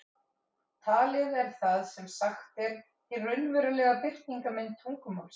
Talið er það sem sagt er, hin raunverulega birtingarmynd tungumálsins.